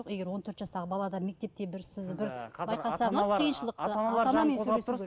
егер он төрт жастағы балада мектепте бір сіз бір байқасаңыз қиыншылықты